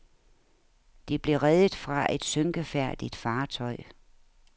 De blev reddet fra et synkefærdigt fartøj.